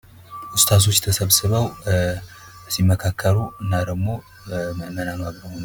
ኡስታዞች ተሰብስበው ሲመካከሩ የሚያሳይ ምስል ሲሆን ፤ ጠቅላይ ሚኒስትር ዶክተር አብይ አህመድ በመካከላቸው ይገኛሉ።